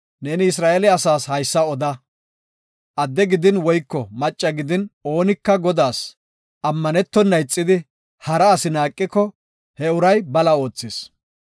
“Neeni Isra7eele asaas haysa oda; adde gidin woyko macci gidin oonika Godaas ammanetona ixidi hara asi naaqiko he uray bala oothis.